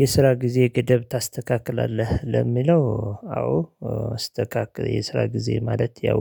የስራ ጊዜ ገደብ ታስተካክላለህ ለሚለው አዎ የስራ ጊዜ ማለት ያው